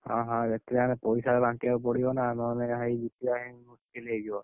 ହଁ ହଁ, ଏଠି ଆମେ ପଇସା ବାଣ୍ଟିଆକୁ ପଡିବ ନା ନହେଲେ ଭାଇ ଜିତିଆ ପାଇଁ, ହେଇଯିବ।